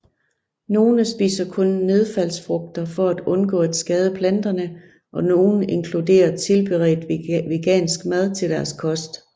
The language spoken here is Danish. Nogle spiser kun nedfaldsfrugter for at undgå at skade planterne og nogle inkluderer tilberedt vegansk mad til deres kost